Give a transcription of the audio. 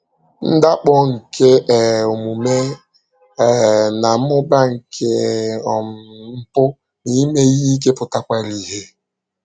Ndakpọ nke um omume um na mmụba nke um mpụ na ime ihe ike pụtakwara ìhè.